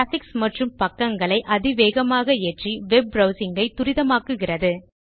graphics மற்றும் பக்கங்களை அதிவேகமாக ஏற்றி வெப் ப்ரவ்சிங் ஐ துரிதமாக்குகிறது